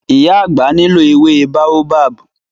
Ìyá àgbà nílò ewé Baobab.